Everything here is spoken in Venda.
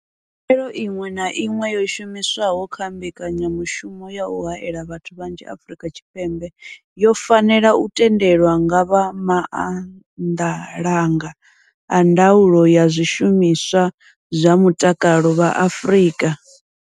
Khaelo iṅwe na iṅwe yo shumiswaho kha mbekanyamushumo ya u haela vhathu vhanzhi Afrika Tshipembe yo fanela u tendelwa nga vha maanḓalanga a ndaulo ya zwishumiswa zwa mutakalo vha Afrika.